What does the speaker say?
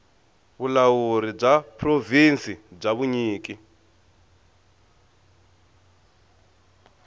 vulawuri bya provhinsi bya vunyiki